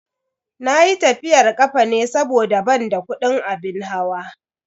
Nayi tafiyar kafa ne saboda ban da kudin abin hawa.